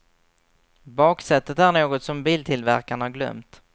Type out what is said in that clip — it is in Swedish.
Baksätet är något som biltillverkarna glömt.